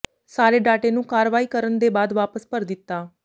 ਸਾਰੇ ਡਾਟੇ ਨੂੰ ਕਾਰਵਾਈ ਕਰਨ ਦੇ ਬਾਅਦ ਵਾਪਸ ਭਰ ਦਿੱਤਾ